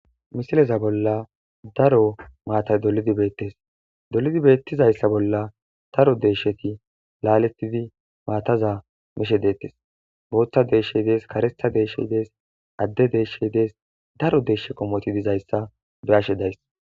Misileza bollan daro matayi dolidi betes dolidi beteszayisa bolla daro de'eshati laletidi mataza mishe detes botha deshay de'es karetha deshay de'es ade deshay de'es daro deshay dizayisa be'ashe dizayis